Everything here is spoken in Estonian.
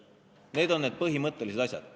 Need on need põhimõttelised asjad.